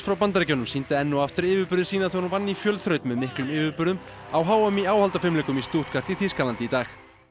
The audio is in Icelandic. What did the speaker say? Bandaríkjunum sýndi enn og aftur yfirburði sína þegar hún vann í fjölþraut með miklum yfirburðum á h m í áhaldafimleikum í Stuttgart í Þýskalandi í dag